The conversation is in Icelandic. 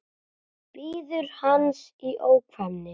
Bíður hans í ofvæni.